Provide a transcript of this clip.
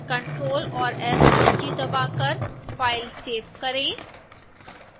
ctrl और s कुंजी दबाकर फ़ाइल सेव करें